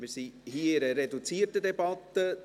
Wir befinden uns in einer reduzierten Debatte.